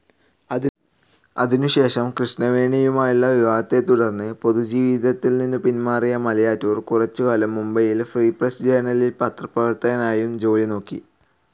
അതിനുശേഷം കൃഷ്ണവേണിയുമായുള്ള വിവാഹത്തെത്തുടർന്നു പൊതുജീവിതത്തിൽനിന്നും പിന്മാറിയ മലയാറ്റൂർ കുറച്ചുകാലം മുംബൈയിൽ ഫ്രീ പ്രസ്‌ ജേണലിൽ പത്രപ്രവർത്തകനായും ജോലി നോക്കി.